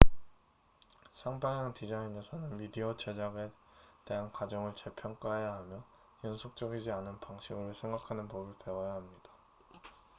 쌍방향 디자인에서는 미디어 제작에 대한 가정을 재평가해야 하며 연속적이지 않은 방식으로 생각하는 법을 배워야 합니다